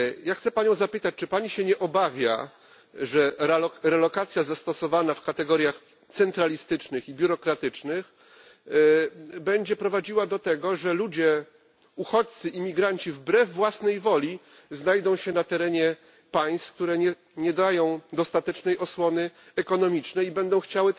Chcę panią zapytać, czy pani się nie obawia, że relokacja zastosowana w kategoriach centralistycznych i biurokratycznych będzie prowadziła do tego, że uchodźcy, imigranci wbrew własnej woli znajdą się na terenie państw, które nie dają dostatecznej osłony ekonomicznej, i